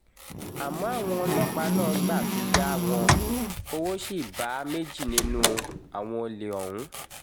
àmọ́ àwọn ọlọ́pàá náà gbà fi yá wọn owó ṣì bá méjì nínú àwọn olè ọ̀hún